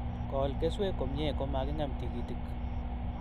Kol keswek komnye, komaking'em tikitik